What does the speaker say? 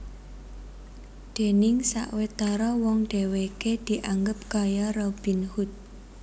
Déning sawetara wong dhèwèké dianggep kaya Robin Hood